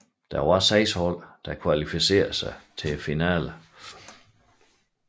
Seks hold kvalificerede sig til finalen